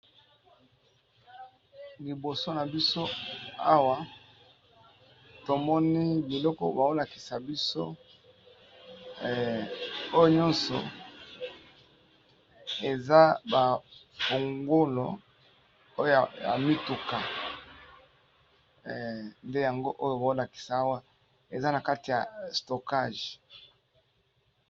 Liboso na biso awa tomoni biloko bazolakisa biso oyo nyonso eza bafungola ya mituka nde yango oyo bazolakisa awa eza na kati ya stokage.